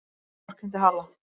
Hann vorkenndi Halla.